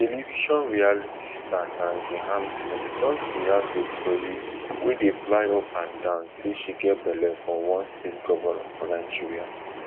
television reality star nengi hampson don react to tori wey dey fly up and down say she get belle for one state govnor for nigeria